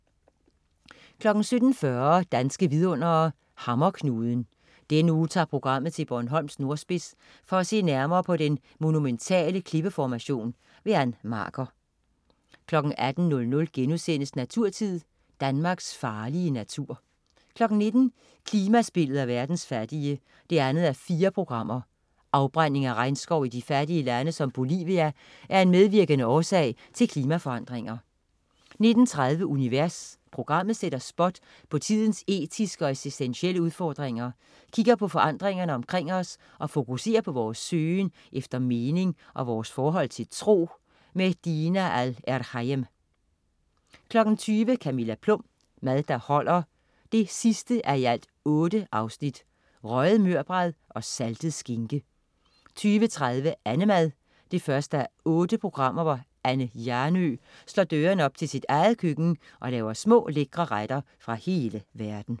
17.40 Danske vidundere: Hammerknuden. Denne uge tager programmet til Bornholms nordspids for at se nærmere på den monumentale klippeformation. Ann Marker 18.00 Naturtid.* Danmarks farlige natur 19.00 Klimaspillet og verdens fattige 2:4. Afbrænding af regnskov i fattige lande som Bolivia er en medvirkende årsag til klimaforandringer 19.30 Univers. Programmet sætter spot på tidens etiske og eksistentielle udfordringer, kigger på forandringerne omkring os og fokuserer på vores søgen efter mening og vores forhold til tro. Dina Al-Erhayem 20.00 Camilla Plum. Mad der holder 8:8. Røget mørbrad og saltet skinke 20.30 Annemad 1:8. Anne Hjernøe slår dørene op til sit eget køkken og laver små, lækre retter fra hele verden